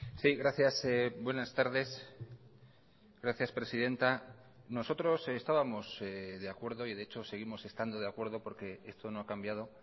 sí gracias buenas tardes gracias presidenta nosotros estábamos de acuerdo y de hecho seguimos estando de acuerdo porque esto no ha cambiado